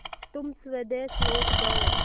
तुम स्वदेश लौट जाओ